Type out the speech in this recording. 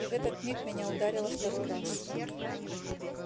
и в этот миг меня ударило второй раз